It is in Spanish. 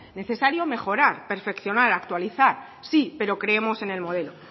necesario mejorar perfeccionar actualizar sí pero creemos en el modelo